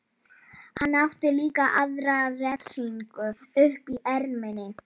Hann átti líka aðra refsingu uppi í erminni.